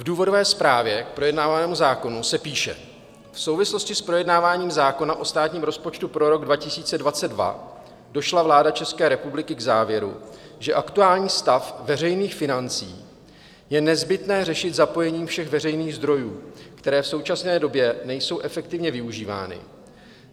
V důvodové zprávě k projednávanému zákonu se píše: V souvislosti s projednáváním zákona o státním rozpočtu pro rok 2022 došla vláda České republiky k závěru, že aktuální stav veřejných financí je nezbytné řešit zapojením všech veřejných zdrojů, které v současné době nejsou efektivně využívány.